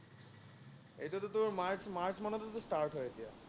এইটোতো তোৰ March March মানতেতো start হয়, এতিয়া